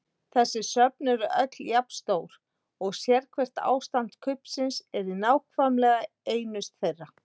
Þessi söfn eru öll jafn stór og sérhvert ástand kubbsins er í nákvæmlega einu þeirra.